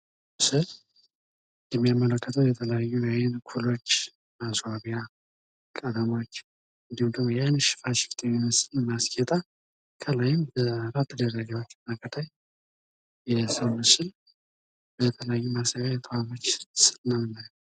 ምስሉ ላይ የምንመለከተው የተለያዩ የአይን ማስዋቢያ ኩሎች ነው ።የተለያየ ከለር አላቸው። አይኗ የሚያምር በማስዋቢያ የተዋበች ሴት።